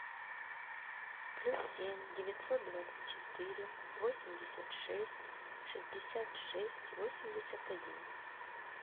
плюс семь девятьсот двадцать четыре восемьдесят шесть шестьдесят шесть восемьдесят один